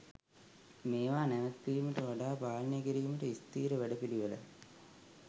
මේවා නැවත්වීමට වඩා පාලනය කිරීමට ස්ථීර වැඩපිළිවෙළක්